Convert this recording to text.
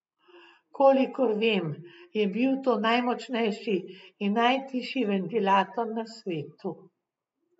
Kolikor vem, je bil to najmočnejši in najtišji ventilator na svetu.